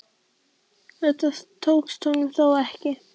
Þetta tókst honum þó ekki.